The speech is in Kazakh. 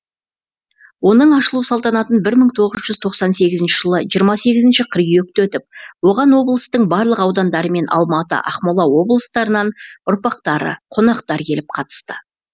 оның ашылу салтанатын бір мың тоғыз жүз тоқсан сегізінші жылы жиырма сегізінші қыркүйекте өтіп оған облыстың барлық аудандары мен алматы ақмола облыстарынан ұрпақтары қонақтар келіп қатысты